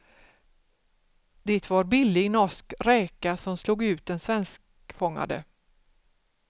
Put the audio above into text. Det var billig norsk räka som slog ut den svenskfångade.